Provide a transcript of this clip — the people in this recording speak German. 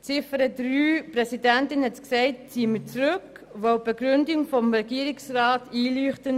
Wie die Präsidentin gesagt hat, ziehen wir Ziffer 3 zurück, weil uns die Begründung des Regierungsrats einleuchtet.